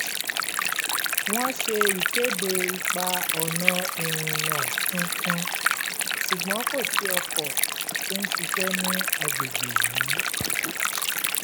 wọ́n ṣe ìkéde ipa-ọ̀nà ìrìnà tuntun ṣùgbọ́n kò sí ọkọ̀ tó ń ṣiṣẹ́ ní agbègbè yìí